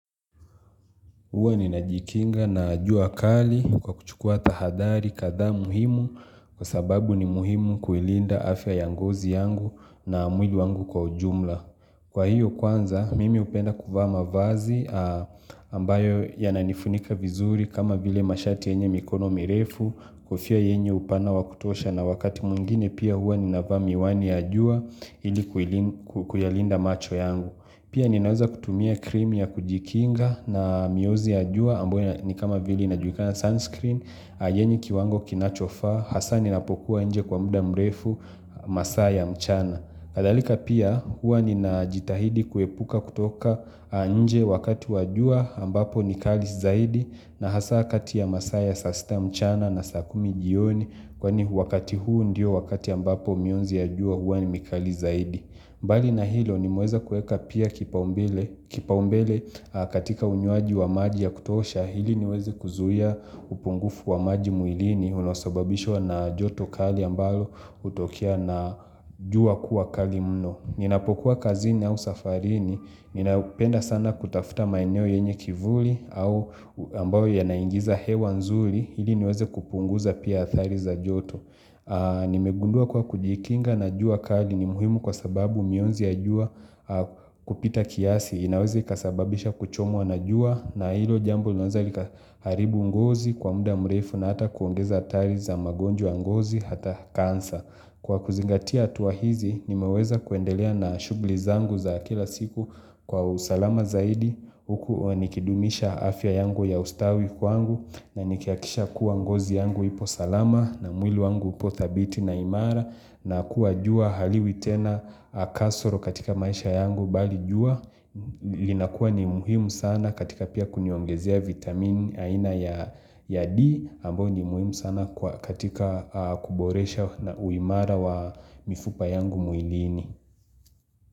Huwa ninajikinga na jua kali kwa kuchukua tahadhari kadha muhimu kwa sababu ni muhimu kuilinda afya ya ngozi yangu na mwili wangu kwa ujumla. Kwa hiyo kwanza, mimi hupenda kuvaa mavazi ambayo yananifunika vizuri kama vile mashati yenye mikono mirefu kofia yenye upana wakutosha na wakati mwingine pia huwa ninavaa miwani ya jua ili kuilinda macho yangu. Pia ninaweza kutumia krimi ya kujikinga na miozi ya jua ambayo ni kama vile inajulikana sunscreen, yenye kiwango kinachofa, hasa ni napokuwa nje kwa muda mrefu masaa mchana. Kadhalika pia huwa ni najitahidi kuepuka kutoka nje wakati wajua ambapo ni kali zaidi na hasa katia masaa saa sita mchana na saa kumi jioni kwa ni wakati huu ndio wakati ambapo mionzi ya jua huwa ni mkali zaidi. Mbali na hilo nimeweza kueka pia kipaombele katika unywaji wa maji ya kutosha ili niweze kuzuia upungufu wa maji mwilini unaosababishwa na joto kali ambalo hutokia na jua kuwa kali mno. Ninapokuwa kazini au safarini, ninapenda sana kutafuta maeneo yenye kivuli au ambayo yanaingiza hewa nzuri ili niweze kupunguza pia athari za joto. Nimegundua kwa kujikinga na jua kali ni muhimu kwa sababu mionzi ya jua kupita kiasi inaweza ikasababisha kuchomwa na jua na hilo jambo linaweza likaharibu ngozi kwa muda mrefu na hata kuongeza athari za magonjwa ngozi hata kansa Kwa kuzingatia hatua hizi nimeweza kuendelea na shughuli zangu za kila siku kwa usalama zaidi huku nikidumisha afya yangu ya ustawi kwangu na nikihakikisha kuwa ngozi yangu ipo salama na mwili wangu upo thabiti na imara na kuwa jua haliwi tena kasoro katika maisha yangu bali jua linakuwa ni muhimu sana katika pia kuniwongezia vitamini aina ya D ambao ni muhimu sana katika kuboresha uimara wa mifupa yangu mwilini.